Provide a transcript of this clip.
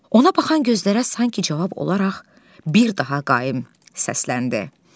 Ona bakan gözlərə sanki cavab olaraq bir daha qaim səsləndi.